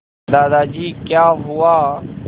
दादाजी क्या हुआ